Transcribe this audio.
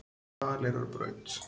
Hvaleyrarbraut